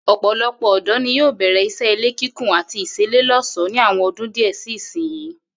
Ò̩pò̩lo̩pò̩ ò̩dó̩ ni yóò bè̩rè̩ is̩é̩ ilé kíkùn àti ìs̩eléló̩s̩ò̩ó̩ ní àwo̩n o̩dún díè̩ sí ìsinyìí